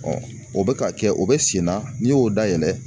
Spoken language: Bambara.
o bɛ ka kɛ o bɛ sen na n'i y'o dayɛlɛ